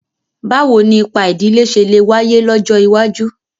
Báwo ni ipa ìdílé ṣe lè wáyé lọ́jọ́ iwájú?